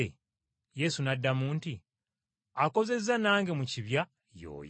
Yesu n’addamu nti, “Akozezza nange mu kibya, y’oyo.